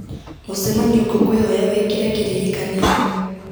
mũcemanio ngũkwĩhoya wĩkĩre kĩririkania